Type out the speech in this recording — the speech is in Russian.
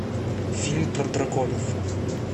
фильм про драконов